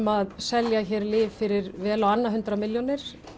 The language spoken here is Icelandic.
að selja lyf fyrir vel á annað hundrað milljónir